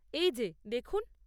এই যে, দেখুন।